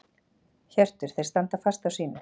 Hjörtur: Þeir standa fast á sínu?